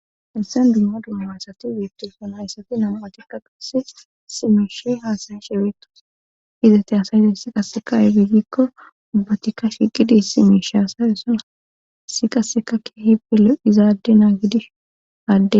helsen dumma dumma asati weettifona yssati namu7atikka qase simishii haasane shebeetos hizate asayizay si qaseka ebegikko ubbatikka shiqidi si mish asayessona si qasseka ke hipele izaade naa gidish adde